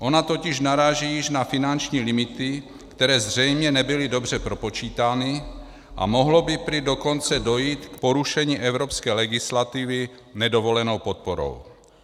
Ona totiž naráží již na finanční limity, které zřejmě nebyly dobře propočítány, a mohlo by prý dokonce dojít k porušení evropské legislativy nedovolenou podporou.